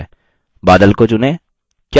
बादल को चुनें